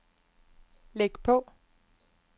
læg på